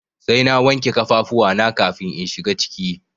Sai na wanke kafafuwa na kafin in shiga ciki.